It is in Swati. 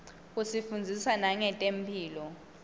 isifundzisa nangetemphilo